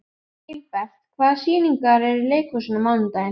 Gilbert, hvaða sýningar eru í leikhúsinu á mánudaginn?